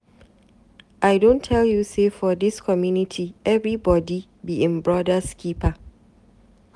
I don tell you sey for dis community, everybodi be im broda's keeper.